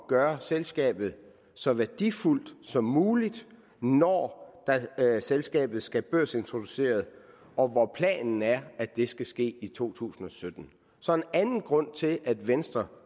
gøre selskabet så værdifuldt som muligt når selskabet skal børsintroduceres og hvor planen er at det skal ske i to tusind og sytten så en anden grund til at venstre